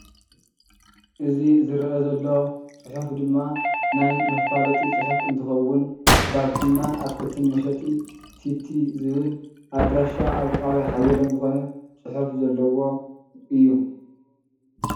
እዚ ዝረአ ዘሎ ፅሑፍ ድማ ናይ መፋለጢ ፅሑፍ እንትኸውን ባልትናን አትክልትን መሸጢ ቲቲ ዝብል አድራሻ አብ ጣብያ ሓየሎም ዝኾነ ፅሑፍ ዘለዎ እዩ።